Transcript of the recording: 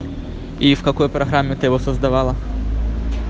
и в какой программе ты его создавала